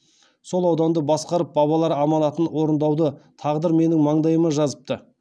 сол ауданды басқарып бабалар аманатын орындауды тағдыр менің маңдайыма жазыпты